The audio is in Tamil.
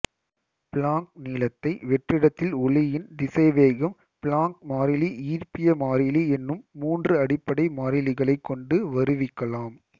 பிளாங்க் நீளத்தை வெற்றிடத்தில் ஒளியின் திசைவேகம் பிளாங்க் மாறிலி ஈர்ப்பிய மாறிலி எனும் மூன்று அடிப்படை மாறிலிகளைக் கொண்டு வருவிக்கலாம்